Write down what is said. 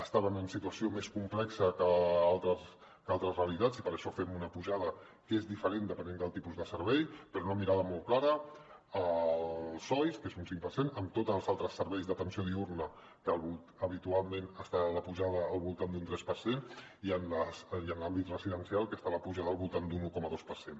estaven en situació més complexa que altres realitats i per això fem una pujada que és diferent depenent del tipus de servei però una mirada molt clara al soi que és un cinc per cent en tots els altres serveis d’atenció diürna que habitualment està la pujada al voltant d’un tres per cent i en l’àmbit residencial que està la pujada al voltant d’un un coma dos per cent